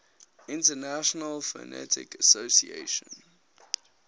international phonetic association